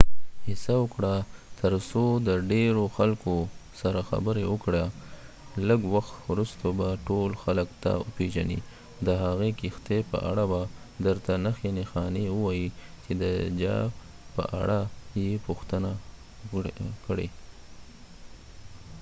هڅه وکړه تر څو د ډیرو خلکو سره خبری وکړی ، لږ وخت وروسته به ټول خلک تا و پیژنی .او د هغی کښتۍ په اړه به درته نښي نښانی ووایی چی د جا په اړه یی پوښتنه وکړی